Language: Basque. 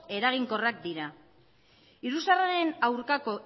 eraginkorrak dira iruzurraren aurkako